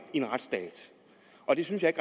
i en retsstat og det synes jeg